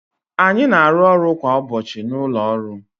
anyị na-arụ ọrụ kwa ụbọchị na ụlọ ọrụ